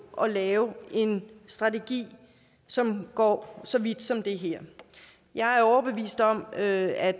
at lave en strategi som går så vidt som det her jeg er overbevist om at